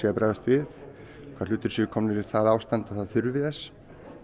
að bregðast við hvaða hlutir séu komnir í það ástand að það þurfi þess